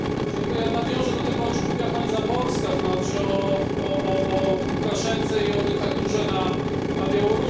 Nawiążę do tego, o czym mówiła pani Záborská, to znaczy o Łukaszence i o dyktaturze na Białorusi.